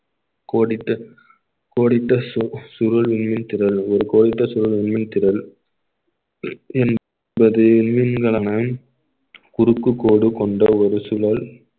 கோடிட்டு கோடிட்டு சு~ சுருள் மின்மீன் திரள்கள் ஒரு மின்மீன் திரள் என்பது குறுக்கு கோடு கொண்ட ஒரு சூழல்